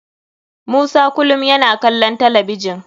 Musa kulum yana kalon talabijin.